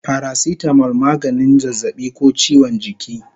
Paracetamol maganin zazzabi ko chiwon jiki